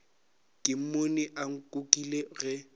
ke mmone a nkukile ge